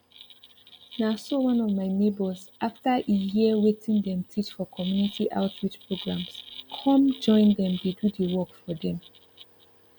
na so one of my neighbors after e hear wetin dem teach for community outreach programs come join dem dey do the work for dem